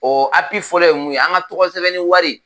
O fɔlɔ ye mun ye an ka tɔgɔ sɛbɛnni wari